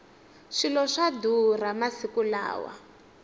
swilo swa durha masiku lawa